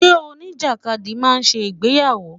Ṣé oníjàkadì máa ṣe ìgbéyàwó?